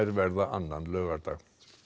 verða annan laugardag